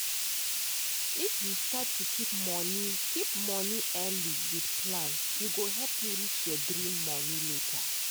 if you start to keep money keep money early with plan e go help you reach your dream money later